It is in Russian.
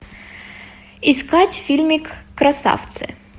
искать фильмик красавцы